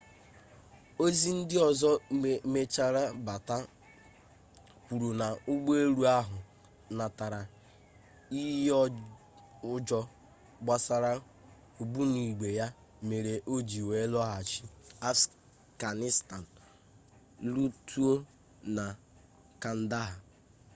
ozi ndị ọzọ mechara bata kwuru na ụgbọ elu ahụ natara iyi ụjọ gbasara ogbunigwe ya mere o ji wee lọghachi afganistan lotuo na kandahar